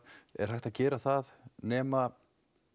er hægt að gera það nema